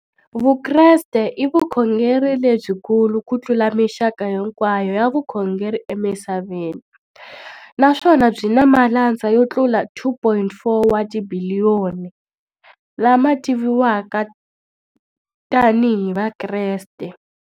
Vukreste i vukhongeri lebyi kulu kutlula mixaka hinkwayo ya vukhongeri emisaveni, naswona byi na malandza yo tlula 2.4 wa tibiliyoni, la ma tiviwaka tani hi Vakreste.